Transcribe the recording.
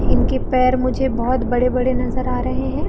इनके पैर मुझे बहोत बड़े-बड़े नजर आ रहे है।